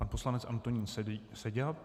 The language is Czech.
Pan poslanec Antonín Seďa.